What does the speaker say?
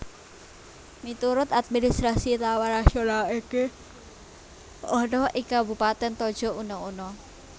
Miturut administrasi taman nasional iki ana ing Kabupatèn Tojo Una Una